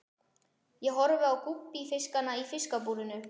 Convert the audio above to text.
Ég horfi á gúbbífiskana í fiskabúrinu.